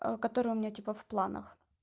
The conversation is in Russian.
который у меня типа в планах